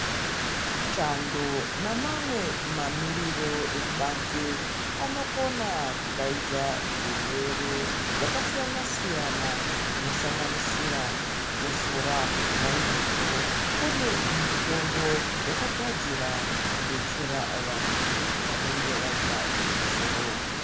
Chando namamwe mamiriro ekubanze, anokona kudayidza zvirwere zvakasiyana-siyana, zvinosanganisira kukosora nayizvozvo kune mitombo yakagadzira kudetsera vantu vanenge vayita chikosoro.